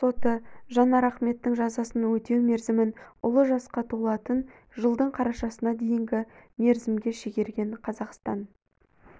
соты жанар ахметтің жазасын өтеу мерзімін ұлы жасқа толатын жылдың қарашасына дейінгі мерзімге шегерген қазақстан